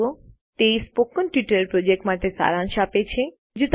httpspoken tutorialorgWhat is a Spoken Tutorial તે spoken tutorial project માટે સારાંશ આપે છે